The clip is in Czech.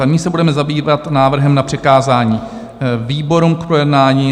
A nyní se budeme zabývat návrhem na přikázání výborům k projednání.